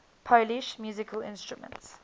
polish musical instruments